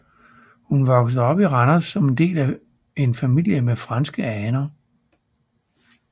Hun voksede op i Randers som del af en familie med franske aner